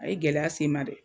A ye gɛlɛya sen ma dɛ!